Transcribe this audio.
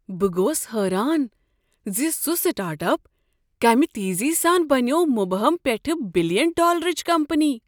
بہٕ گوٚوس حٲران ز سُہ سٹارٹ اپ کمِہ تیزی سان بنیوو مبہم پیٚٹھٕ بلین ڈالرٕچ کمپنی۔